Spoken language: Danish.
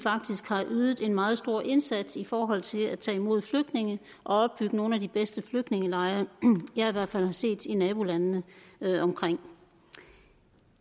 har ydet en meget stor indsats i forhold til at tage imod flygtninge og opbygge nogle af de bedste flygtningelejre jeg i hvert fald har set i nabolandene deromkring